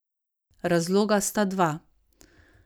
Razloga sta dva.